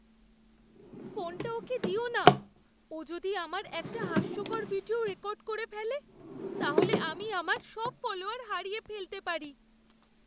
ফোনটা ওকে দিও না। ও যদি আমার একটা হাস্যকর ভিডিও রেকর্ড করে ফেলে, তাহলে আমি আমার সব ফলোয়ার হারিয়ে ফেলতে পারি।